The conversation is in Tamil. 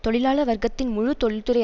தொழிலாள வர்க்கத்தின் முழு தொழில்துறை